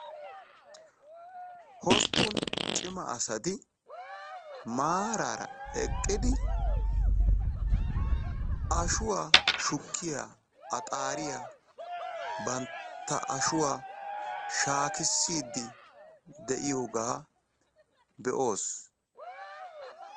Hosppun cima asati maarara eqqidi ashshuwaa shukkiya axxariyaa bantta ashshuwaa shaakissidi de'iyooga be"oos.